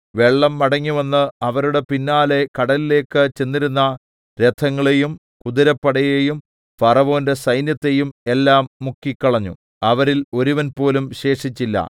വെള്ളം മടങ്ങിവന്ന് അവരുടെ പിന്നാലെ കടലിലേക്ക് ചെന്നിരുന്ന രഥങ്ങളെയും കുതിരപ്പടയേയും ഫറവോന്റെ സൈന്യത്തെയും എല്ലാം മുക്കിക്കളഞ്ഞു അവരിൽ ഒരുവൻപോലും ശേഷിച്ചില്ല